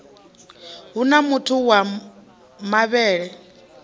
hu na mutuku wa mavhele